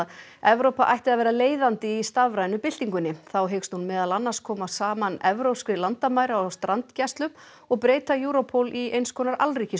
Evrópa ætti að vera leiðandi í stafrænu byltingunni þá hyggst hún meðal annars koma saman evrópskri landamæra og strandgæslu og breyta Europol í eins konar